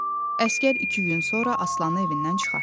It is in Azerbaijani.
Əsgər iki gün sonra Aslanı evindən çıxartdı.